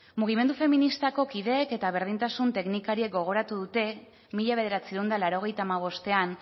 mugimendu feministako kideek eta berdintasun teknikariak gogoratu dute mila bederatziehun eta laurogeita hamabostean